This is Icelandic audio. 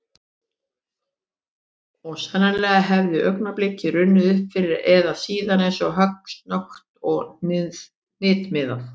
Og sennilega hefði augnablikið runnið upp fyrr eða síðar eins og högg, snöggt og hnitmiðað.